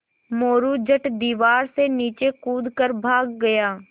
मोरू झट दीवार से नीचे कूद कर भाग गया